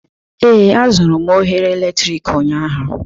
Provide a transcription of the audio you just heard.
Ee, azụrụ m oghere eletrik ụnyaahụ